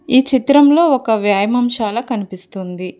ఈ చిత్రంలో ఒక వ్యాయామం శాల కనిపిస్తుంది.